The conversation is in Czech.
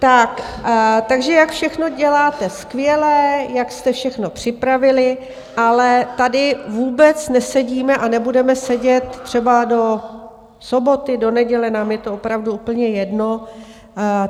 Takže jak všechno děláte skvěle, jak jste všechno připravili, ale tady vůbec nesedíme a nebudeme sedět třeba do soboty, do neděle, nám je to opravdu úplně jedno.